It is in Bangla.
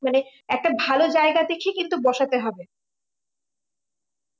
মানে একটা ভালো জায়গা দেখে কিন্তু বসাতে হবে